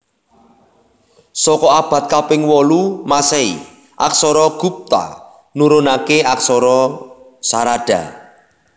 Saka abad kaping wolu Masehi aksara Gupta nurunaké aksara Sarada